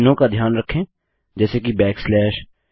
चिन्हों का ध्यान रखें जैसे कि बैक स्लैश